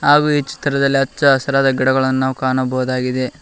ಹಾಗೂ ಈ ಚಿತ್ರದಲ್ಲಿ ನಾವು ಹಚ್ಚ ಹಸಿರಾದ ಗಿಡಗಳನ್ನು ಕಾಣಬಹುದಾಗಿದೆ.